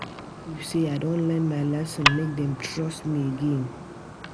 I wan prove sey I don learn my lesson, make dem trust me again.